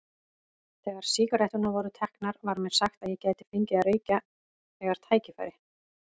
Þegar sígaretturnar voru teknar var mér sagt að ég gæti fengið að reykja þegar tækifæri